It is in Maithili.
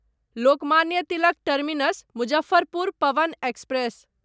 Lokmanya Tilak terminus Muzaffarpur Pawan express